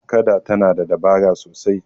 kada tana da dabara sasai